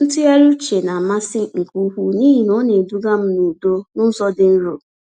Ntụgharị uche namasị nke ukwuu n’ihi na ọ na-eduga m n’udo n’ụzọ dị nro.